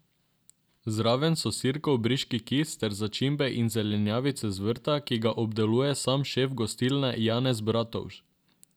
Zraven so Sirkov briški kis ter začimbe in zelenjavice z vrta, ki ga obdeluje sam šef gostilne Janez Bratovž.